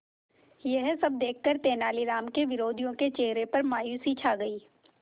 यह सब देखकर तेनालीराम के विरोधियों के चेहरे पर मायूसी छा गई